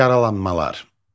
Yaralanmalar.